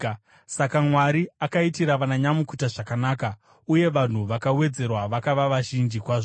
Saka Mwari akaitira vananyamukuta zvakanaka uye vanhu vakawedzerwa vakava vazhinji kwazvo.